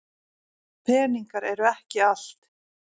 Peningar eru ekki allt.